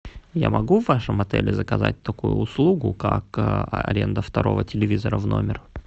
я могу в вашем отеле заказать такую услугу как аренда второго телевизора в номер